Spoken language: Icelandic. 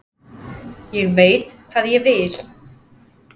Ég veit hvað ég vil!